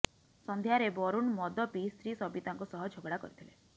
ସଂଧ୍ୟାରେ ବରୁଣ ମଦ ପିଇ ସ୍ତ୍ରୀ ସବିତାଙ୍କ ସହ ଝଗଡ଼ା କରିଥିଲେ